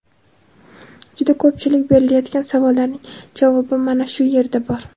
juda ko‘pchilik berilayotgan savollarning javobi mana shu yerda bor.